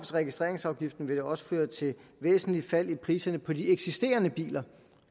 registreringsafgiften vil også føre til væsentlige fald i priserne på de eksisterende biler